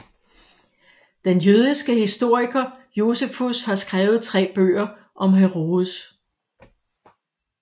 Den jødiske historiker Josefus har skrevet tre bøger om Herodes